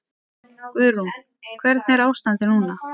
Guðrún: Hvernig er ástandið núna?